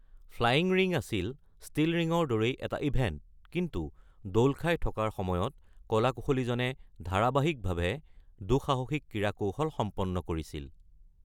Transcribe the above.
Flying ring আছিল still ৰিঙৰ দৰেই এটা ইভেণ্ট, কিন্তু দোল খাই থকাৰ সময়ত কলা-কুশলীজনে ধাৰাবাহিকভাৱে দুঃসাহসিক ক্ৰীড়াকৌশল সম্পন্ন কৰিছিল।